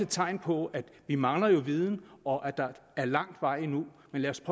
tegn på at vi mangler viden og at der er lang vej endnu men lad os